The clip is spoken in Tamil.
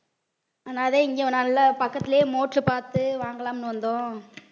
அதனாலதான் இங்க நல்லா பக்கத்துலயே motor பாத்து வாங்கலாம்ன்னு வந்தோம்